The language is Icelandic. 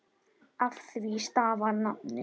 Af því stafar nafnið.